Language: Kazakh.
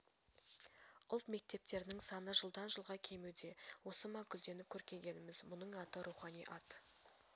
ұлт мектептерінің саны жылдан жылға кемуде осы ма гүлденіп көркейгеніміз бұның аты рухани ат